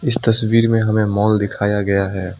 इस तस्वीर में हमें मॉल् दिखाया गया है।